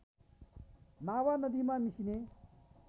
मावा नदीमा मिसिने